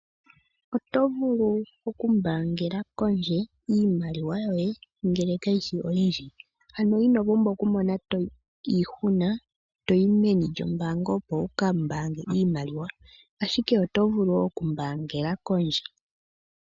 Oto vulu okumbaangela kondje iimaliwa yoye ngele kayi shi oyindji. Ano ino pumbwa okumona iihuna toyi meni lyombaanga opo wuka mbaange iimaliwa ashike oto vulu okumbaangela kondje.